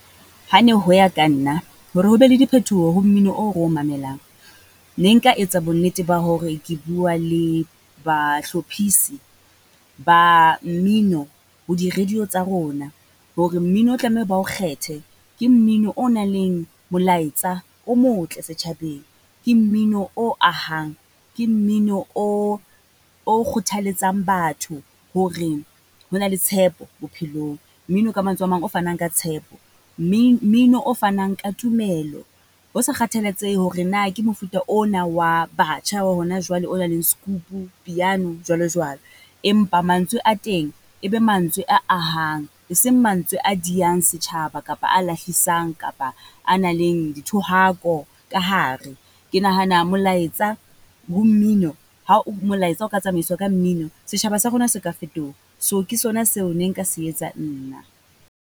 Ha ne ho ya ka nna, hore ho be le diphetoho ho mmino o re o mamelang. Ne nka etsa bonnete ba hore ke bua le bahlophisi ba mmino ho di-radio tsa rona. Hore mmino o tlameha ba o kgethe, ke mmino o na leng molaetsa, o motle setjhabeng. Ke mmino o ahang, ke mmino o, o kgothaletsang batho hore ho na le tshepo bophelong. Mmino ka mantswe a mang o fanang ka tshepo, mmino o fanang ka tumelo ho sa kgathalatsehe hore na ke mofuta ona wa batjha wa hona jwale, o nang le piano, skupu jwalo jwalo. Empa mantswe a teng e be mantswe a ahang, eseng mantswe a diang setjhaba kapa a lahlisang kapa a nang leng dithohako ka hare. Ke nahana molaetsa ho mmino ha o molaetsa o ka tsamaiswa ka mmino, setjhaba sa rona se ka fetoha. So ke sona seo nne nka se etsa nna.